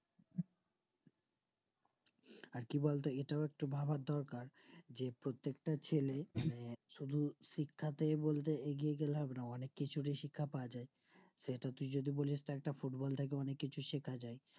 আর কি বলতো এটাও একটু ভাবার দরকার যে প্রত্যেকটা ছেলে শুধু শিক্ষাতেই বলতে এগিয়ে গেলে হবে না অনেক কিছুরই শিক্ষা পাওয়া যাই সেটা কি যদি বলিস তা একটা football থেকেও অনিক কিছু শেখ যাই